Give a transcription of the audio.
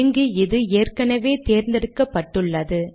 இங்கு இது ஏற்கெனெவே தேர்ந்தெடுக்கப்பட்டுள்ளது